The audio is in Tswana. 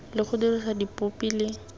le go dirisa dipopi le